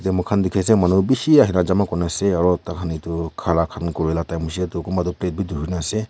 moikhan dikhi ase manu bishi ase a jama kune ase aru tai khan etu khara khan kuri la time hoise tu kunba tu pet bhi dhori na ase.